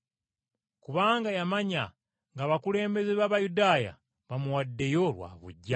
Kubanga yamanya ng’abakulembeze b’Abayudaaya bamuwaddeyo lwa buggya.